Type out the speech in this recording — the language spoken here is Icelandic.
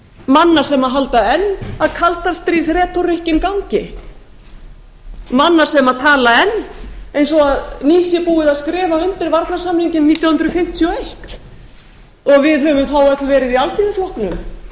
manna sem halda enn að kaldastríðsreku gangi manna sem tala enn eins og nýbúið sé að skrifa undir varnarsamninginn nítján hundruð fimmtíu og eins og við höfum þá öll verið í alþýðuflokknum